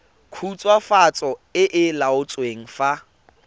khutswafatso e e laotsweng fa